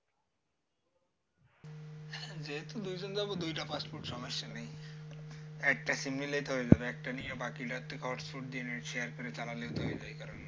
যেহেতু দুইজন যাব দুইটা passport সমস্যা নেই একটা sim নিলেই তো হয়ে যাবে একটা নিয়ে বাকি আরেকজন তো share করে চালালেই হয়ে যায়